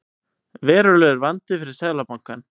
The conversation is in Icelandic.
Verulegur vandi fyrir Seðlabankann